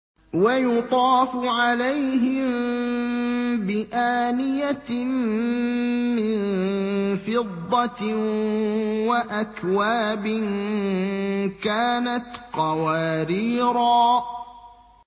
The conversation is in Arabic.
وَيُطَافُ عَلَيْهِم بِآنِيَةٍ مِّن فِضَّةٍ وَأَكْوَابٍ كَانَتْ قَوَارِيرَا